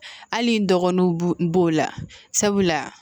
Hali n dɔgɔninw bo b'o la sabula